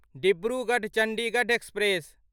Dibrugarh Chandigarh express